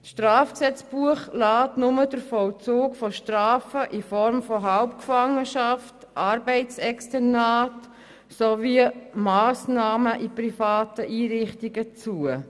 Das Strafgesetzbuch lässt nur den Vollzug von Strafen in Form von Halbgefangenschaft, Arbeitsexternat sowie Massnahmen in privaten Einrichtungen zu.